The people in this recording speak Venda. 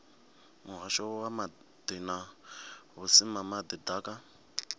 muhasho wa maḓi na vhusimama ḓaka